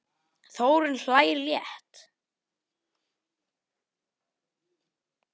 Þórunn hlær létt.